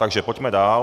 Takže pojďme dál.